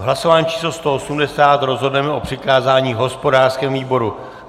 V hlasování číslo 180 rozhodneme o přikázání hospodářskému výboru.